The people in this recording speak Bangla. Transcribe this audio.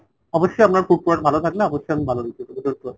অবশ্যই আপনার food quality ভালো থাকলে অবশ্যই আমি ভালো review দেবো don't worry ।